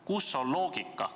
Kus on loogika?